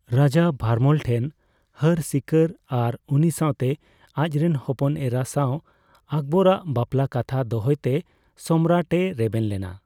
ᱨᱟᱡᱟ ᱵᱷᱟᱨᱢᱚᱞ ᱴᱷᱮᱱ ᱦᱟᱹᱨ ᱥᱤᱠᱟᱹᱨ ᱟᱨ ᱩᱱᱤ ᱥᱟᱣᱛᱮ ᱟᱡᱨᱮᱱ ᱦᱚᱯᱚᱱ ᱮᱨᱟ ᱥᱟᱣ ᱟᱠᱵᱚᱨ ᱟᱜ ᱵᱟᱯᱞᱟ ᱠᱟᱛᱷᱟ ᱫᱚᱦᱚᱭ ᱛᱮ ᱥᱚᱢᱨᱟᱴ ᱮ ᱨᱮᱵᱮᱱ ᱞᱮᱱᱟ ᱾